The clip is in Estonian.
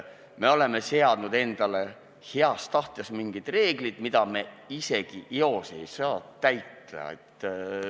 Me oleme seadnud endale heast tahtest mingid reeglid, mida me isegi eos ei saa täita.